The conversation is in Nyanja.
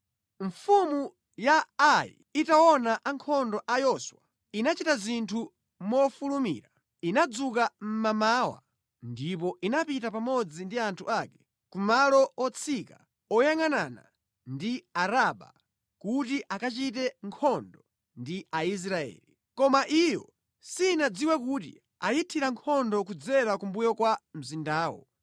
Mfumu ya Ai itaona ankhondo a Yoswa, inachita zinthu mofulumira. Inadzuka mmamawa ndipo inapita pamodzi ndi anthu ake ku malo otsika oyangʼanana ndi Araba kuti akachite nkhondo ndi Aisraeli. Koma iyo sinadziwe kuti ayithira nkhondo kudzera kumbuyo kwa mzindawo.